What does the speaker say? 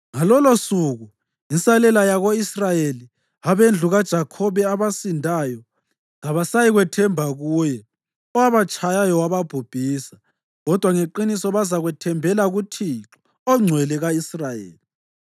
Ngalolosuku insalela yako-Israyeli, abendlu kaJakhobe abasindayo, kabasayikwethemba kuye owabatshayayo wababhubhisa kodwa ngeqiniso bazathembela kuThixo, oNgcwele ka-Israyeli.